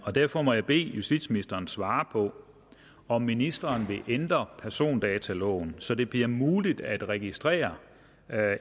derfor må jeg bede justitsministeren svare på om ministeren vil ændre persondataloven så det bliver muligt at registrere